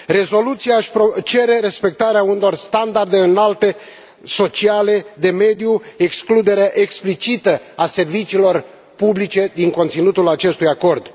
Rezoluția cere respectarea unor standarde înalte sociale și de mediu, excluderea explicită a serviciilor publice din conținutul acestui acord.